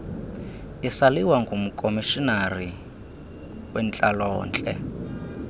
isaliwa ngumkomishinari wentlalontle